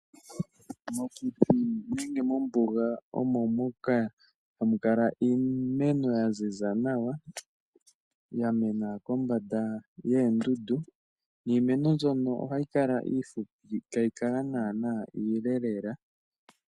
Mokuti nenge mombuga omo moka hamu kala iimeno ya ziza nawa ya mena kombanda yoondundu niimeno mbyono ohayi kala iifupi ihayi kala iile lela.